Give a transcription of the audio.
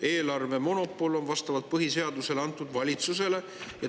Eelarvemonopol on vastavalt põhiseadusele antud valitsusele.